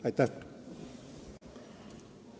Aitäh!